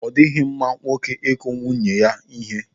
Ọ dịghị mma nwoke ịkụ nwunye ya ihe.